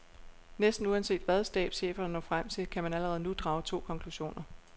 Næsten uanset hvad stabscheferne når frem til, kan man allerede nu drage to konklusioner.